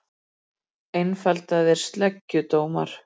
Einfaldaðir sleggjudómar